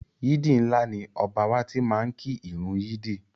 Yídì ńlá ni Ọba wa tí máá ń kí ìrun yídì